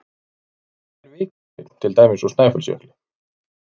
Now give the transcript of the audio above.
Hvað er vikursteinn, til dæmis úr Snæfellsjökli?